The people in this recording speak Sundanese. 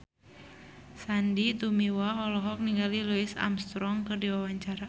Sandy Tumiwa olohok ningali Louis Armstrong keur diwawancara